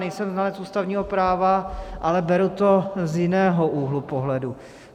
Nejsem znalec ústavního práva, ale beru to z jiného úhlu pohledu.